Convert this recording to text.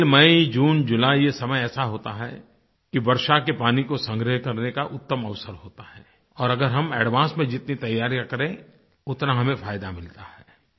April May June July ये समय ऐसा होता है कि वर्षा के पानी को संग्रह करने का उत्तम अवसर होता है और अगर हम एडवांस में जितनी तैयारियाँ करें उतना हमें फायदा मिलता है